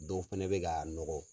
Dɔw fɛnɛ bɛ ka a nɔgɔ.